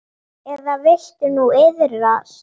Eða viltu nú iðrast?